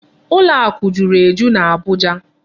Ụlọ akụ juru eju n'Abuja.